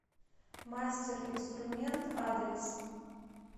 мастер инструмент адрес